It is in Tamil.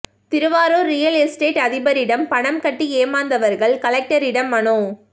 திருவாரூர் ரியல் எஸ்டேட் அதிபரிடம் பணம் கட்டி ஏமாந்தவர்கள் கலெக்டரிடம் மனு